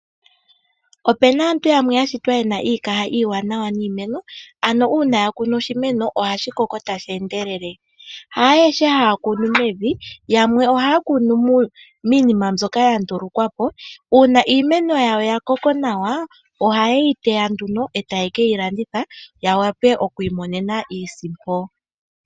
Opena aantu yamwe yashinwa yena iikaha iiwanawa niimeno, ano uuna akunu oshimeno ohashi koko tashi endelele. Haayehe haya kunu mevi yamwe ohaya kunu miinima mbyoka yandulukwapo uuna iimeno yawo yakoko nawa ohayeyi teya nduno eteye keyi landitha yawape okukiimonena iisimpo.